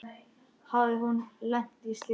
Hafði hún lent í slysi?